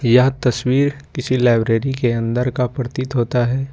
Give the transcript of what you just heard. यह तस्वीर किसी लाइब्रेरी के अंदर का प्रतीत होता है।